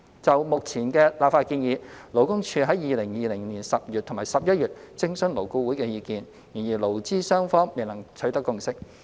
就目前的立法建議，勞工處曾於2020年10月及11月徵詢勞顧會的意見，但勞資雙方未能取得共識。